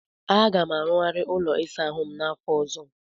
Aga m arụghari ụlọ ịsa ahụ m n'afọ ọzọ.